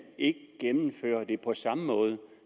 ikke gennemfører det på samme måde